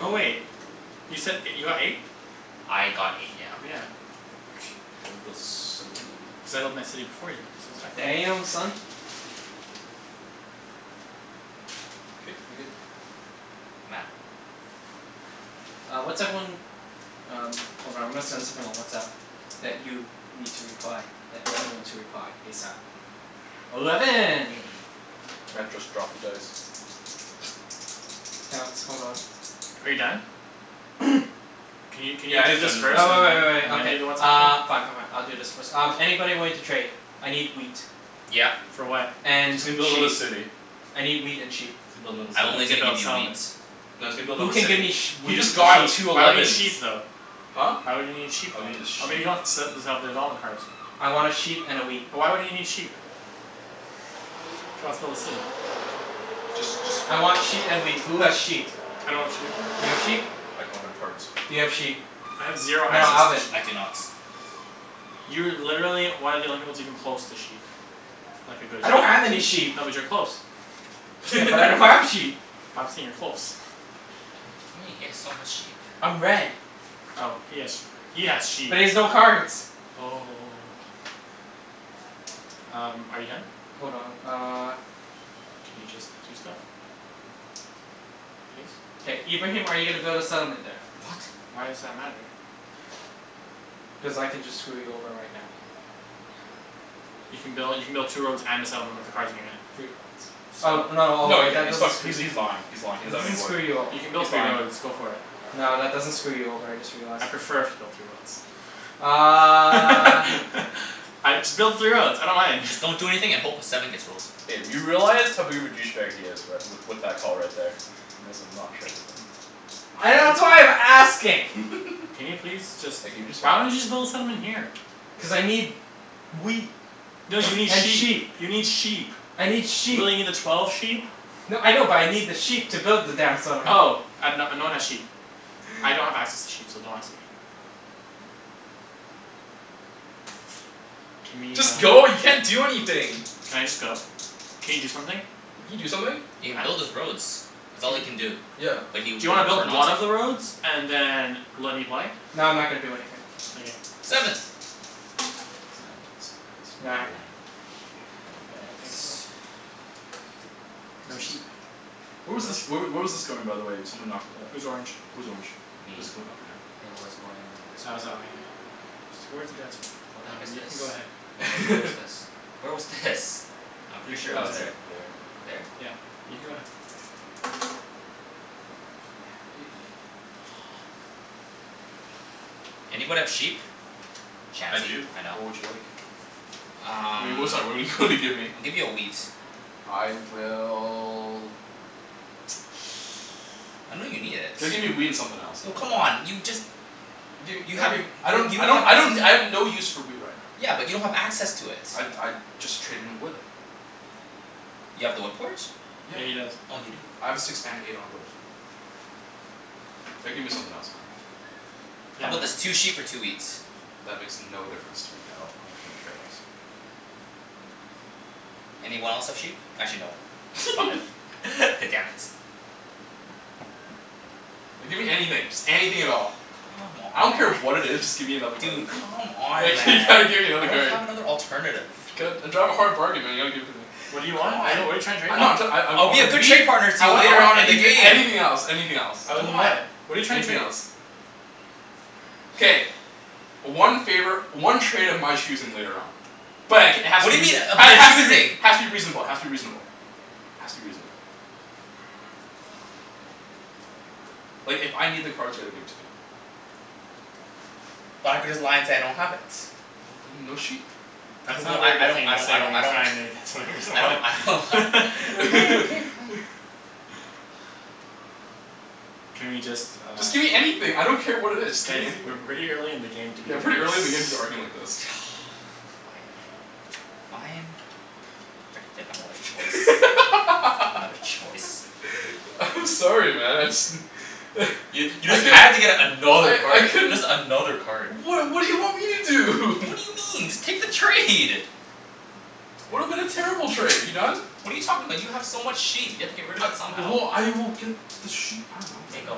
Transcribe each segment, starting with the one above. Oh wait, you said you got eight? I got eight, yeah. Oh yeah. K I wanna build settlement. Settled my city before you, Matt, so it's fine. Damn, son. K, we good. Matt. Uh what's everyone, um hold on I'm gonna send something on WhatsApp. That you need to reply. That d- everyone to reply, ASAP. Eleven. Matt just dropped the dice. K let's, hold on. Are you done? Can you can you Yeah he do is this done, Uh just first uh re-roll. and wai- wai- then wai- and then okay. do the WhatsApp Uh. thing? Fine fine fine, I'll do this first. Um Anybody willing to trade? I need wheat. Yeah. For what? And And he's gonna build another sheep. city. I need wheat and sheep. He's gonna build I'm another No, only he's city. gonna gonna build give a you wheat. settlement. No, he's gonna build Who another can give me city. sh- He wheat just Why would, got sheep? two why would he need elevens. sheep though? Huh? Why would he need sheep Oh then? he need a Oh maybe sheep. he wants development cards. I wanna sheep and a wheat. But why would he need sheep? If he wants to build a city? Just just I want sheet and wheat. Who has sheep? I don't have sheep. You have sheep? I don't have any cards. Do you have sheep? I have zero No no, No. access to Alvin. I do sheep. not. You're literally one of the only people that's even close to sheep. Like a good I don't have any sheep. sheep. No, but you're close. Yeah, but I don't have sheep. But I'm saying you're close What do you mean? He has so much sheep. I'm red. Oh he has sheep. He has sheep. But he has no cards. Oh Um, are you done? Hold on, uh. Can you just do stuff? Please? K, Ibrahim are you gonna build a settlement there? What? Why does that matter? Cuz I can just screw you over right now. You can build, you can build two roads and a settlement with the cards in your hand. Three roads. Oh So? no, oh No he wait, can't, that he's fuck- doesn't , screw he's he's lying, he's lying, he That doesn't have doesn't any wood. screw you o- You can He's build three lying. roads. Go for it. No, that doesn't screw you over, I just realized. I'd prefer if you built three Uh roads. I, just build the three roads, I don't mind. Just don't do anything a hope a seven gets rolled. K, you realize how big of a douche bag he is right, with with that call right there. You may as well not trade with him. I, that's why I'm asking. Can you please just, Like can you just hurry why don't you up? just build a settlement here? Cuz I need wheat No you need and sheep sheep. You need sheep. I need sheep. Will you need a twelve sheep? No, I know but I need the sheep to build the damn settlement. Oh. I have, no no one has sheep. I don't have access to sheep so don't ask me. Can we Just uh go, you can't do anything. Can I just go? Can you do something? Can you do something? He can build Matt? his roads. That's all he can do. B- Yeah. but he Do would you wanna build prefer one not to. of the roads and then let me play? No, I'm not gonna do anything. Okay. Seven. Sand bun some of the cards. Nine. Nine. Nine. Okay, I think so. No sheep. Where was No this, where w- sheep. where was this going by the way? Someone knocked it up. Who's orange? Who's orange? Me. Was it going up or down? It was going this way. That was that way, yeah. Towards the desert. What the heck Um, is you this? can go Where ahead. wa- where was this? Where was this? I'm You pretty can sure go it Oh was it's ahead. there. like there. There? Yeah. You can go ahead. Hey. Fuck. Anybody have sheep? I Chancey. do, I know. what would you like? What do Um you, sorry what do you wanna give me? I'll give you a wheat. I will I know you need it. Gotta give me a wheat and something else Oh man. come on. You just Dude You have w- okay, I y- don't you I don't don't have I access don't, I have no use for wheat right now. Yeah, but you don't have access to it. I'd I'd just trade in wood. You have the wood port? Yeah. Yeah, he does. Oh you do. I have a six and an eight on a wood. Gotta give me something else man. Yeah How 'bout man. this? Two sheep for two wheat. That makes no difference to me at all. I couldn't care less. Anyone else have sheep? Actually no, five. Damn it. No, give me anything, just anything at all. Come I on don't man. care what it is, just give me another card. Dude, come on Like man, you gotta give me I another don't card. have another alternative. I drive a hard bargain man you gotta give it to me. What do you want? What're you, C'mon. what are you tryin' to trade? No I'm, I'm try- I I I I'll be want a a good wheat. trade partner to I you want I later want on in the anything game. anything else anything else. Other Come than on. that, what're you trying to Anything trade? else. K. One favor, one trade of my choosing later on. But it k- it has What to be do you mean reaso- of ha- your has to be rea- choosing? has to be reasonable has to be reasonable. Has to be reasonable. Like if I need the cards you gotta give it to me. But I could just lie and say I don't have it. Well then no sheep. That's not a Well, I very I good don't thing I to don't say when I you're don't trying to get something from I don't I don't ha- someone K, okay fine. Can we just uh Just give me anything, I don't care what it is, just Guys, gimme we're anything. way early in the game to be Yeah, doing this pretty early in the game to be arguing like this. Fine. fine. Frickin' didn't have another choice. Another choice. I'm sorry man, I just You you I just could had to get another I I card. couldn't Just another card. What what do you want me to do? What do you mean? Just take the trade. Would've been a terrible trade. Are you done? What are you talking about? You have so much sheep. You have to get rid of it somehow. Well, I will get the sheep, I dunno K, man. go.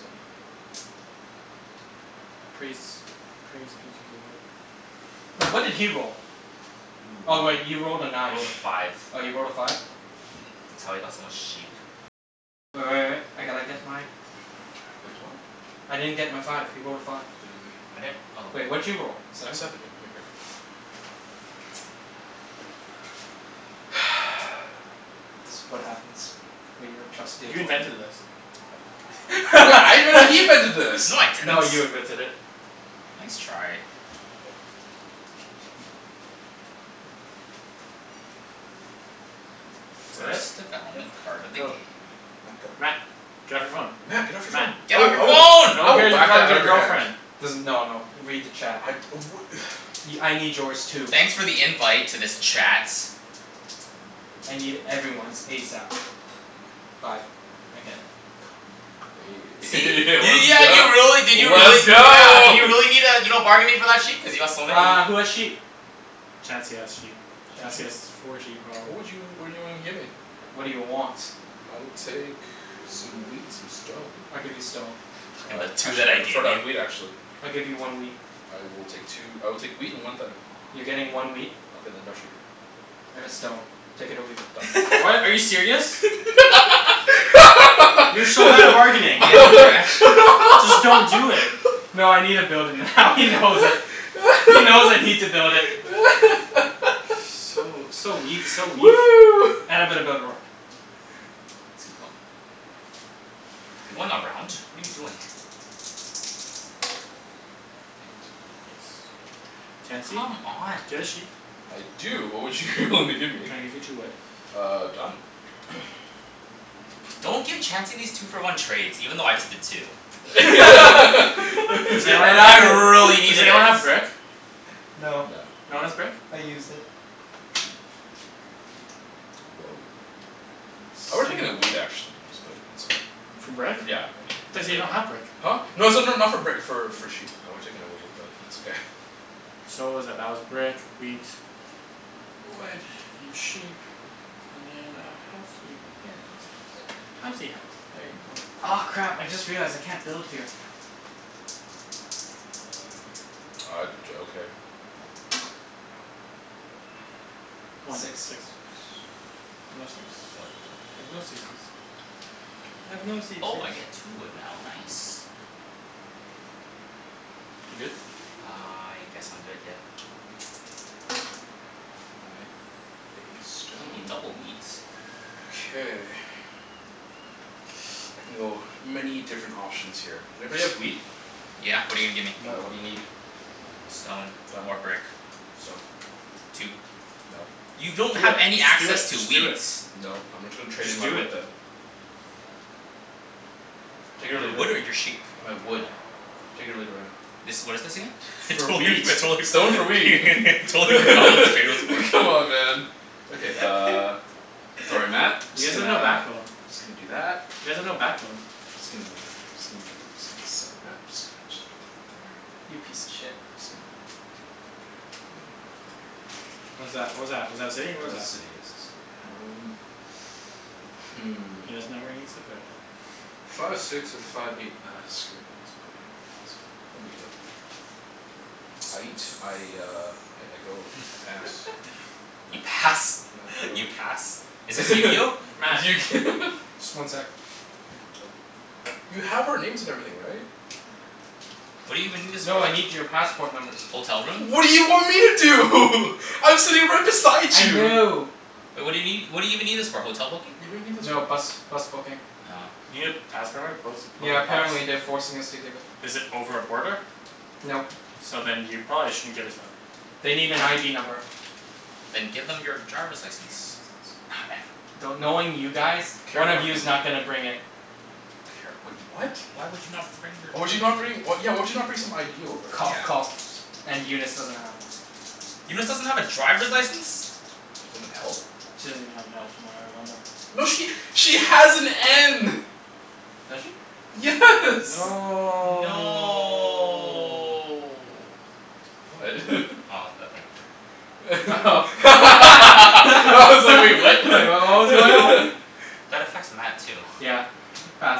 Seven. Praise. Praise be to the lord. Wait, what did he roll? Oh wait, he You're a moron. rolled a I nine. rolled a five. Oh you rolled a five? That's how he got so much sheep. Wait what? I didn't get my five. He rolled a five. Okay then I I'm right here. didn't oh Wait, what did you roll? A Seven? seven, here, give me a card. This what happens when you don't trust the You opponent. invented this. What, I invented, he invented this. No I didn't. No, you invented it. Nice try. Fret? First development Yep. card of the Go. game. Matt, go. Matt. Get off your phone. Matt get off your Matt. phone. I Get off will your I will phone. No I one will cares you're whack that talking to out of your your hand. girlfriend. Doesn- no no, read the chat. I'd oh wha- Y- I need yours too. Thanks for the invite to this chat. I need everyone's ASAP. Five. Again. Let's See? You, yeah go, you really, did you really let's yeah, go did you need uh you're not bargaining for that sheep? Cuz you got so many. Uh, who has sheep? Chancey has sheep. Chancey Chancey? has four sheep What probably. would you, what do you wanna give me? What do you want? I will take some wheat and some stone. I'll give you stone. Fuckin' Uh the two that actually I I'd gave prefer to have wheat you. actually. I'll give you one wheat. I will take two, I will take wheat and one thing. You're getting one wheat. Okay then no sheep. And a stone. Take it or leave it. Done. What, are you serious? You're so bad at bargaining. Yeah, you're actu- Just don't do it. No I needa build it now he knows it. He knows I need to build it. So, so weak, so weak. And I'm gonna build a road. Let's keep going. You're going around? What are you doing? Eight. Chancey? Do you Come on. have a sheep? I do. What would you wanna give me? Can I give you two wood? Uh done. Don't give Chancey these two for one trades, even though I just did too. Does Cuz anyone And have I I really a, does needed it. anyone have brick? No. No, No one has brick? I used it. Whoa. I would've taken a wheat actually, but it's okay. For brick? I Yeah, yeah. thought you said you don't have brick. Huh? No it's not not for brick for for sheep, I would have taken a wheat but it's okay. So what was that? That was brick, wheat. Wood and sheep. And then a housey right there. Housey house. Housey house. There you go. Aw crap, I just realized I can't build here. Uh d- okay. One. Six. Six. No six. Wood. I have no sixes. I have no Oh I seizures. get two wood now, nice. You good? I guess I'm good, yeah. Nine, hey, Hey, stone. double wheat. Okay. I can go many different options here. Everybody have wheat? Yeah, what're you gonna give me? Uh what do you Nope. need? Stone Done. or brick. Stone. Two. Nope. You Do it, don't have any just do it, access to just do wheat. it. Nope, I'm gonna tra- trade in Just my do wood it. then. Take it or Your leave it. wood or your sheep? My wood. Take it or leave it right now. This, what is this again? I For totally forg- wheat. Stone for wheat I totally forgot what this trade was for. Come on man. Okay uh, sorry Matt, You Just guys have gonna, no just backbone. gonna do that. You guys have no backbone. Just gonna just gonna just gonna, sorry Matt, just gonna put that right there. You piece of shit. Just gonna do it right there right there. What is that? What was that? Was that a city? What That's was a that? city, yes, a city. Um Hmm. He doesn't know where he needs to put it. Five six or five eight, ah screw it, I guess I'ma put it here. Guess I'm gonna, no big deal. Aight. I uh I go, I pass. You Matt, pass? Matt go, You pass? Is this your Matt. turn Just one sec. You have our names and everything right? What do you even need this for? No, I need your passport numbers. Hotel room? What do you want me to do? I'm sitting right beside I you. know. Wai- what do you nee- what do you even need this for? Hotel booking? Yeah, what do you need this No, for? bus bus booking. Oh. You need a passport number to book, book Yeah, a bus? apparently they're forcing us to give it. Is it over a border? Nope. So then you probably shouldn't give it to them. They need an ID number. Then give them your driver's license. Not ever- do- knowing you guys, Care one of card you's not number. gonna bring it. Care, wait what? Why would you not bring your Why would you not driver's li- bring, yeah why would you not bring some ID over? Cough Yeah. coughs and Eunice doesn't have one. Eunice doesn't have a driver's license? She doesn't have an L? She doesn't even have an L from what I remember. No she, she has an N. Does she? Yes. Hmm. No No What? Oh, that number. Oh I Like was like "wait, what?" what was going on? That affects Matt too. Yeah, pass.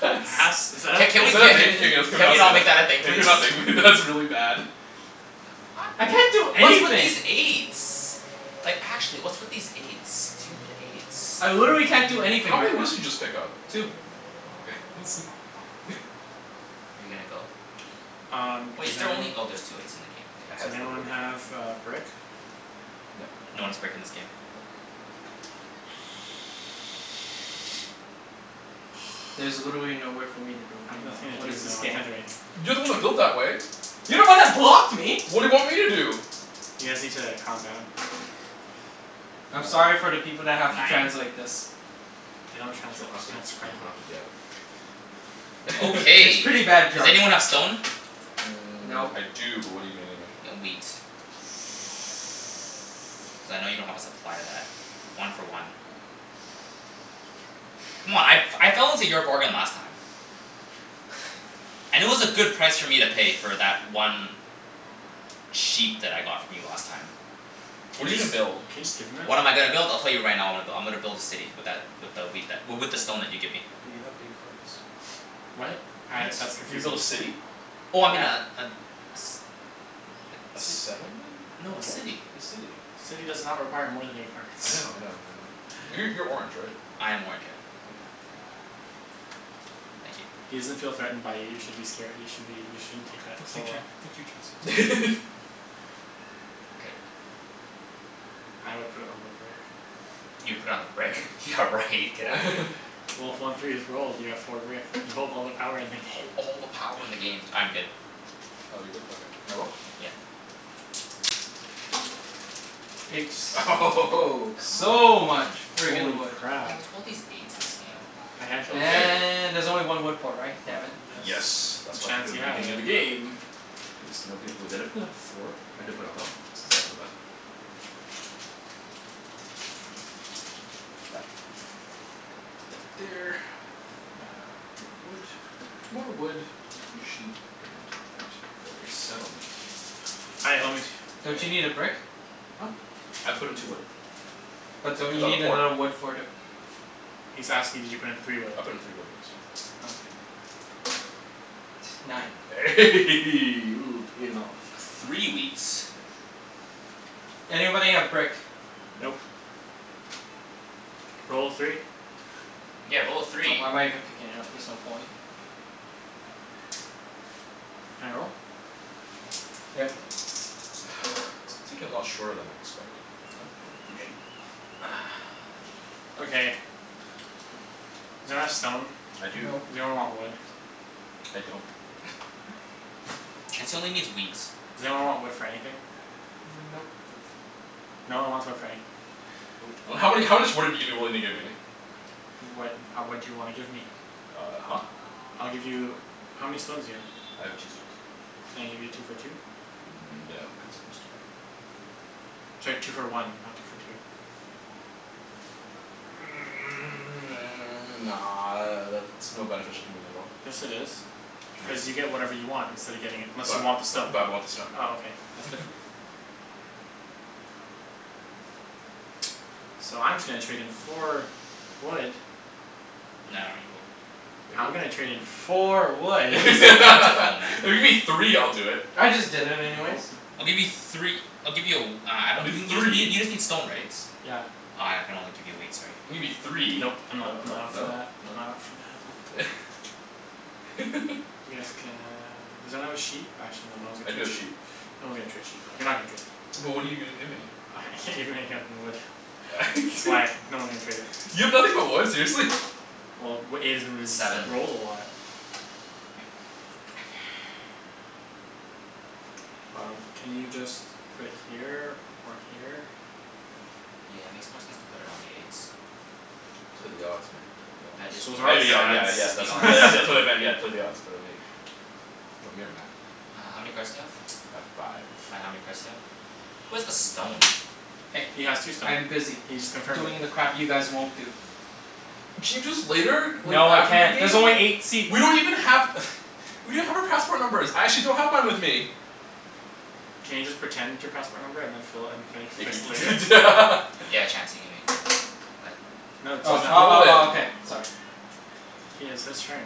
Pass. Pass? Is Is that a that Ca- thing? Can can we ca- we a not, can we Can not we say not make that that? a thing Yeah please? can we not? That's really bad. I can't do What's with anything. these eights? Like actually, what's with these eights? Stupid eights. I literally can't do anything How right many now. woods did you just pick up? Two. Oh okay, I was like Are you gonna go? Um, Wait, does is there only, anyone oh there's two eights in the game. I Does has the anyone have K, a brick? No. No one has brick in this game. Nope. There's literally nowhere for me to build I have anymore. nothing to What do. is No, this I game? can't do anything. You're the one that built that way. You're the one that blocked me. What do you want me to do? You guys need to calm down. I'm sorry for the people that have to Nine? translate this. They don't You translate. don't have Just to you transcribe don't it. have to, yeah. It's Okay, pretty bad does jerk. anyone have stone? Mmm, Nope. I do but what're you gonna give me? Y- wheat. Cuz I know you don't have a supply of that. One for one. C'mon, I f- I fell into your bargain last time. And it was a good price for me to pay for that one sheep that I got from you last time. Can What are you you just, gonna build? can you just give him it? What am I gonna build? I'll tell you right now I'm go- I'm gonna build a city with that, with a wheat that w- with the stone that you give me. But you have eight cards. What? Uh that's What? You're gonna confusing. build a city? Oh I mean a Yeah. a s- A a ci- settlement? no a What? city. A city. City does not require more than eight cards I know I know I know. Uh Yeah. you're you're orange right? I am orange, yeah. Okay, I'm out. Thank you. He doesn't feel threatened by you, you should be scare- you should be, you shouldn't take that Fuck so you Chan- well. fuck you Chancey. K. I would put it on the brick. You put on the brick? Yeah right, get out of here. Well, if one three is rolled you have four brick. You hold all the power in the Hold game. all the power in the game. I'm good. Oh you're good? Okay, can I roll? Yeah. Eight. Eight Come So much on. Yeah friggin' Holy wood. crap. what's with all these eights in this game? A handshake. Okay. And there's only one wood port, right? Uh Damn it. yes, Yes and that's why I took it at Chancey the has beginning of the it. game. Because nobody, wait, did I put down four? I did put down f- sorry my bad. Um so that's that. And put that there. And then uh more wood, more wood, sheep and that for a settlement. Hi, homie. And Don't you that need a brick? Huh? I put in two wood. But don't Cuz you I have need a port. another wood for the He's asking did you put in three wood? I put in three wood, yes. Okay. Nine. Ooh, payin' off. A three wheat. Anybody have brick? Nope. Nope. Roll a three. Yeah, roll a Oh, three. why am I even picking it up? There's no point. Can I roll? Yep. This game's taking a lot shorter than I expected, you know? Hey, three sheep. Okay. Does anyone have stone? I do. Nope. Does anyone want wood? I don't. Chancey only needs wheat. Does anyone want wood for anything? Nope. Nope. No one wants wood for anything. Nope. And how many, how much wood are you giving, willing to give me? What, ha- what do you wanna give me? Uh huh. I'll give you, how many stones do you have? I have two stones. Can I give you two for two? No, because I just did that. Sorry, two for one, not two for two. Nah, that's no beneficial to me at all. Yes it is, No cuz you get dude. whatever you want instead of getting it, unless you But uh want the stone. bu- but I want the stone Oh okay, that's different. So I'm just gonna trade in four wood No, I don't need wood. If you're I'm go- gonna trade in four wood. Wood If is so plentiful man. you give me three I'll do it. I just did it anyways. Nope. I'll give you three I'll give you a w- uh I I'll don- do y- you just need, three. you just need stone right? Yeah. Uh I can only give you wheat, sorry. Gimme three. No Nope. I'm not, no I'm not up for no that, I'm no. not up for that. Yes can, does anyone have a sheep? Actually no, no one's I gonna do trade have sheep. sheep. No one's gonna trade sheep though, you're not gonna trade. But what're you gonna give me? I can't give you anything other than wood. That's why no one's gonna trade it. You have nothing but wood, seriously? Well, w- eight has been ris- Seven. Seven rolled a lot. Um, can you just put it here or here? Yeah, makes more sense to put it on the eight. Play the odds man, play the odds. That is the So those are I odds. mea- the yeah Yeah, yeah that is yeah, the that's odds. wha- odds. that's what I meant, yeah, play the odds, put it on eight. Want me or Matt? Uh how many cards do you have? I have five. Matt, how many cards do you have? Who has the stone? Hey, He has two stone. I'm busy He just confirmed it. doing the crap you guys won't do. Can you do this later? W- No, I after the can't. game? There's only eight seats. We don't even have We don't have our passport numbers. I actually don't have mine with me. Can you just pretend your passport number and then just fill it, and fill, Yeah can fix it later? you prete- Yeah, Chancey, give me a card. Uh No Uh t- Why he's oh would you not. roll oh it? oh okay, sorry. He has his turn.